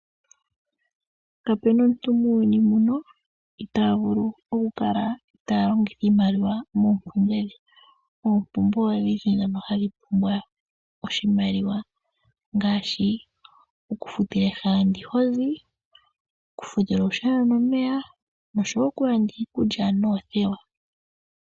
Kapena omuntu muuyuni muno itavulu oku kala ta longitha iimaliwa moompumbwe dhe. Oompumbwe odhindji dhono hadhi pumbwa oshimaliwa, ngaashi oku futila ehala ndi hozi, oku futila olusheno nomeya nosho wo oku landa iikulya noothewa.